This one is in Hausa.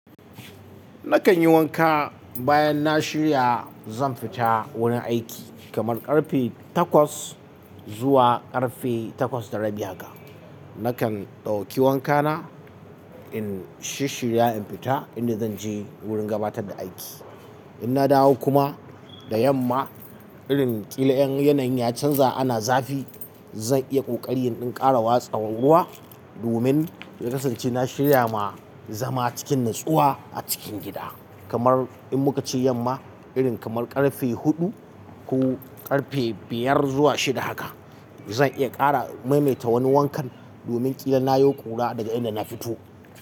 Nakan yi wanka bayan na shirya zan fita wurin aiki kamar ƙarfe takwas zuwa ƙarfe takwas da rabi haka. Nakan ɗauki wankana in shirya in fita inda zan je wurin gabatar da aiki. In na dawo kuma da yamma irin ƙila yanayin ya canza ana zafi, zan iya ƙoƙari in ƙara watsa ruwa domin in kasance na shirya ma zama cikin natsuwa a cikin gida. Kamar in muka ci yamma irin kamar ƙarfe huɗu ko ƙarfe biyar zuwa shida haka, zan iya ƙara maimaita wani wankan domin ƙila na yo ƙura daga inda na fito.